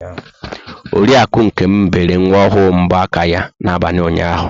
Oriakụ Nkem bere nwa ahụ mbọ aka ya n'abalị ụnyahụ.